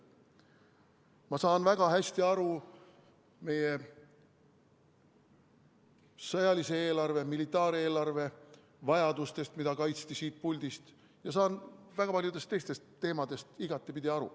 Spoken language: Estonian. Ma saan väga hästi aru meie sõjalise eelarve, militaareelarve vajadustest, mida kaitsti siit puldist, ja saan väga paljudest teistest teemadest igatepidi aru.